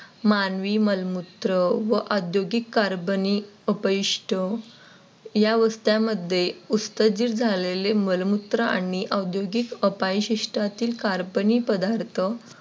मानवी मलमूत्र व औद्योगिक Carbon अपयश्ट झालेले मलमूत्र आणि औद्योगिक अबायिष्ट चे Carbon पदार्थ